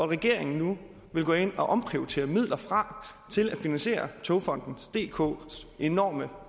regeringen nu vil gå ind og omprioritere midler fra til at finansiere togfonden dks enorme